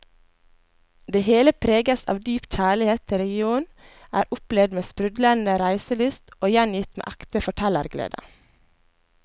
Det hele preges av dyp kjærlighet til regionen, er opplevd med sprudlende reiselyst og gjengitt med ekte fortellerglede.